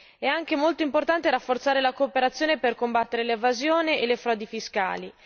È molto importante rafforzare la cooperazione per combattere l'evasione e le frodi fiscali.